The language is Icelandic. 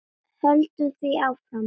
Höldum því áfram.